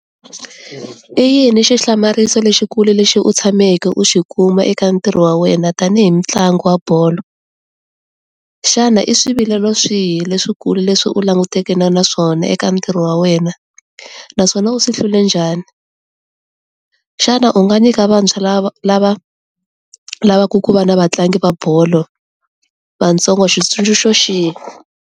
I yini xihlamariso lexikulu lexi u tshameke u xi kuma eka ntirho wa wena tanihi mutlangi wa bolo? Xana i swivilelo swihi leswi kulu leswi u langutaneke na naswona eka ntirho wa wena naswona u swi hlule njhani? Xana u nga nyika vantshwa lava lava lavaka ku va na vatlangi va bolo vatsongo xitsundzuxo xihi?